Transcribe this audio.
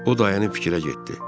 O dayanıb fikrə getdi.